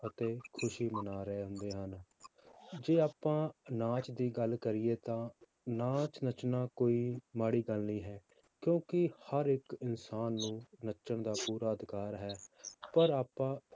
ਅਤੇ ਖ਼ੁਸ਼ੀ ਮਨਾ ਰਹੇ ਹੁੰਦੇ ਹਨ ਜੇ ਆਪਾਂ ਨਾਚ ਦੀ ਗੱਲ ਕਰੀਏ ਤਾਂ ਨਾਚ ਨੱਚਣਾ ਕੋਈ ਮਾੜੀ ਗੱਲ ਨਹੀਂ ਹੈ, ਕਿਉਂਕਿ ਹਰ ਇੱਕ ਇਨਸਾਨ ਨੂੰ ਨੱਚਣ ਦਾ ਪੂਰਾ ਅਧਿਕਾਰ ਹੈ ਪਰ ਆਪਾਂ